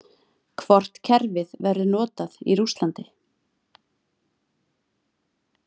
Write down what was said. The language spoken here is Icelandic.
Hvort kerfið verður notað í Rússlandi?